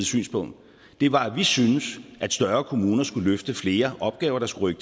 synspunkt var at vi synes at større kommuner skulle løfte flere opgaver der skulle